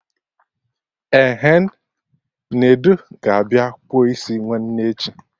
Ehen, Nedu ga-abịa kpụọ isi nwanne echi